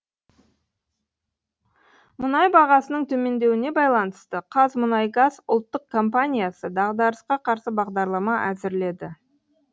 мұнай бағасының төмендеуіне байланысты қазмұнайгаз ұлттық компаниясы дағдарысқа қарсы бағдарлама әзірледі